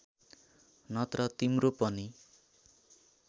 नत्र तिम्रो पनि